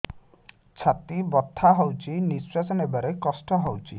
ଛାତି ବଥା ହଉଚି ନିଶ୍ୱାସ ନେବାରେ କଷ୍ଟ ହଉଚି